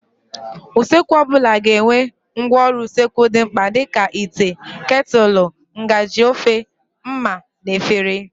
Usekwu ọbụla ga-enwe ngwaọrụ usekwu dị mkpa dịka: ite, ketụlụ, ngaji ofe, ḿmà na efere.